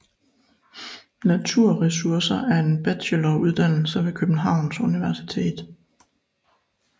Naturressourcer er en bacheloruddannelse ved Københavns Universitet